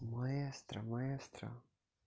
маэстро маэстро